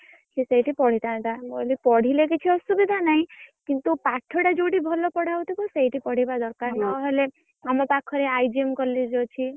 ସିଏ ସେଇଠି ପଢିଥାନ୍ତା। ମୁଁ କହିଲି ପଢିଲେ କିଛି ଅସୁବିଧା ନାଇଁ କିନ୍ତୁ ପାଠ ଟା ଯୋଉଠି ଭଲ ପଢା ହଉଥିବ ସେଇଠି ପଢିବା ଦରକାର୍ ନହେଲେ ଆମ ପାଖରେ IGM college ଅଛି।